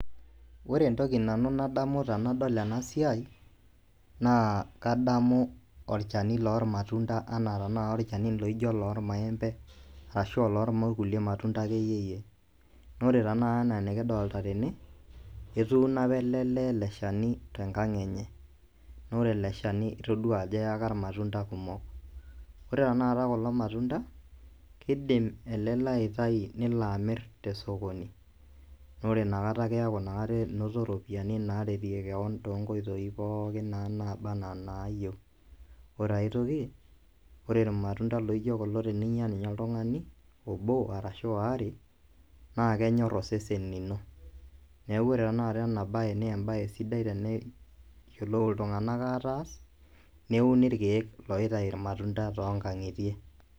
Ore entoki nanu nadamu tenadol ena siai ,kadamu olchani loormaembe ashua oloorkulie matunta akeyiyie naa. Ore tenakata ena nikidolita tene etuuno apa ele lee ele shani tenkang enye naa ore ele shani itodua ajo eyaka irmatunta kumok ore tenakata kulo matunta keidim ele lee aitayu leno amir tesokoni naa ore ina kata keeku enoto iropiyiani toonkoitoi pookin nabanaa inaayieu ore ae toki ore irmatunda laijio kulo teninyia ninye oltung'ani obo ashuu waare naa kenyor osese lino neeku ore tenakata ena baye naa embae sidia teneyiolou iltung'anak aataas neuni irkiek tonkang'itie